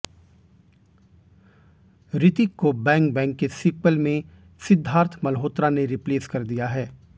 ऋतिक को Bang Bang के sequel में सिद्धार्थ मल्होत्रा ने रिप्लेस कर दिया है